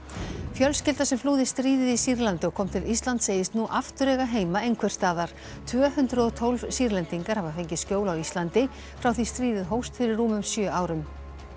fjölskylda sem flúði stríðið í Sýrlandi og kom til Íslands segist nú aftur eiga heima einhvers staðar tvö hundruð og tólf Sýrlendingar hafa fengið skjól á Íslandi frá því stríðið hófst fyrir rúmum sjö árum